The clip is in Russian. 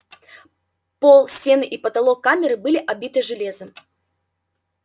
пол стены и потолок камеры были обиты железом